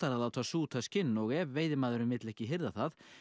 að láta súta skinn og ef veiðimaðurinn vill ekki hirða það